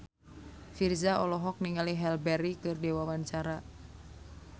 Virzha olohok ningali Halle Berry keur diwawancara